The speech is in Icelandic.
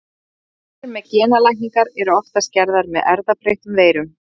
Tilraunir með genalækningar eru oftast gerðar með erfðabreyttum veirum.